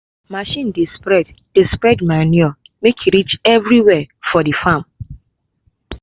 machine dey spread dey spread manure make e reach everywhere for the farm.